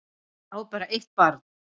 Á bara eitt barn